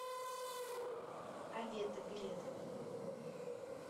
авета билет